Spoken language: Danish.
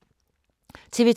TV 2